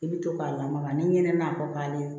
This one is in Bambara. I bɛ to k'a lamaga ni ɲɛnama kɔ ale